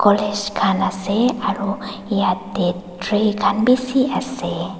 khan asey aro yetey tree khan bisi asey.